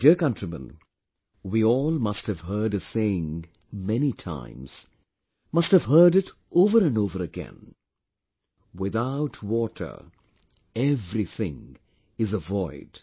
My dear countrymen, we all must have heard a saying many times, must have heard it over and over again without water everything is avoid